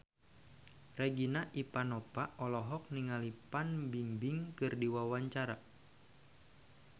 Regina Ivanova olohok ningali Fan Bingbing keur diwawancara